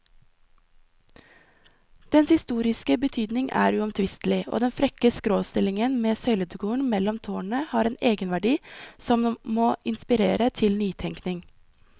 Dens historiske betydning er uomtvistelig, og den frekke skråstillingen med søyledekoren mellom tårnene har en egenverdi som må inspirere til nytenkning.